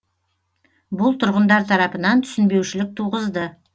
бұл тұрғындар тарапынан түсінбеушілік туғызды